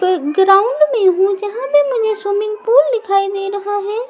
play ground में वो जहाँ भी मुझे स्विमिंग पूल दिखाई दे रहा है और--